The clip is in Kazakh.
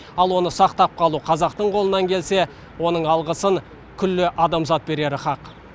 ал оны сақтап қалу қазақтың қолынан келсе оның алғысын күллі адамзат берері хақ